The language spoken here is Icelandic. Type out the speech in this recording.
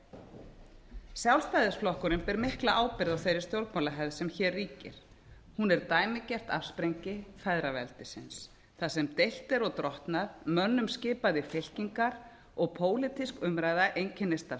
gerðu sjálfstæðisflokkurinn ber mikla ábyrgð á þeirri stjórnmálahefð sem hér ríkir hún er dæmigert afsprengi feðraveldisins þar sem deilt er og drottnað mönnum skipað í fylkingar og pólitísk umræða einkennist af